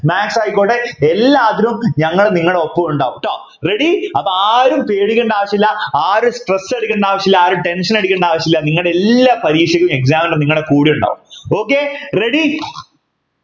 maths ആയിക്കോട്ടെ എല്ലാത്തിനും ഞങ്ങൾ നിങ്ങളെ ഒപ്പം ഉണ്ടാവാൻ ട്ടോ ready അപ്പൊ ആരും പേടിക്കണ്ട ആവശ്യമില്ല ആരും stress എടുക്കേണ്ട ആവശ്യമില്ല ആരും tension അടിക്കേണ്ട ആവശ്യമില്ല നിങ്ങടെ എല്ലാ പരീക്ഷക്കും examiner നിങ്ങടെ കൂടെ ഉണ്ടാകും okay ready